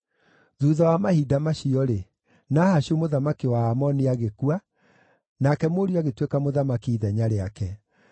Thuutha wa mahinda macio-rĩ, Nahashu mũthamaki wa Aamoni agĩkua, nake mũriũ agĩtuĩka mũthamaki ithenya rĩake.